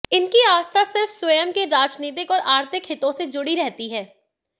इनकी आस्था सिर्फ स्वयं के राजनीतिक और आर्थिक हितों से जुड़ी रहती हैं